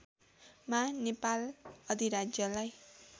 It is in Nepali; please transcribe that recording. मा नेपाल अधिराज्यलाई